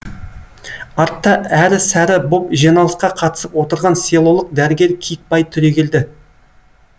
артта әрі сәрі боп жиналысқа қатысып отырған селолық дәрігер киікбай түрегелді